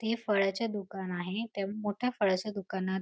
ते फळाचे दुकान आहे त्या मोठ्या फळाच्या दुकानात--